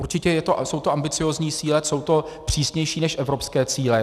Určitě jsou to ambiciózní cíle, jsou to přísnější než evropské cíle.